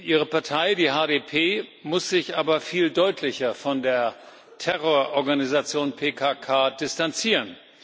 Ihre Partei, die HDP, muss sich aber viel deutlicher von der Terrororganisation PKK distanzieren.